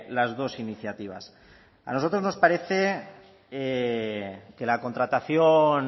las dos iniciativas a nosotros nos parece que la contratación